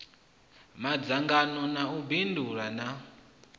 madzhango na u bindula na